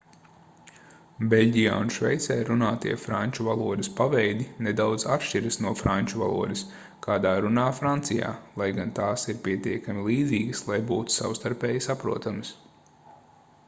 beļģijā un šveicē runātie franču valodas paveidi nedaudz atšķiras no franču valodas kādā runā francijā lai gan tās ir pietiekami līdzīgas lai būtu savstarpēji saprotamas